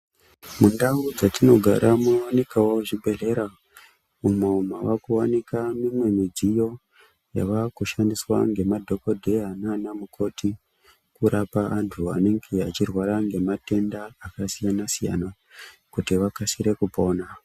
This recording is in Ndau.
Mundau dzatinogara munowanikawo zvibhedhlera umwo mavakuwanika mimwe midziyo yavakushandiswa ngemadhokoteya naana mukoti kurapa antu anenge achirwara ngematenda akasiyana-siyana kuti vakasire kupona.